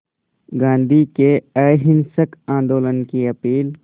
गांधी के अहिंसक आंदोलन की अपील